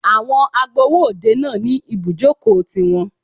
Àwọn agbowó òde náà ní ibùjókòó ti wọn.